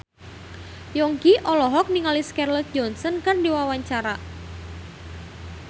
Yongki olohok ningali Scarlett Johansson keur diwawancara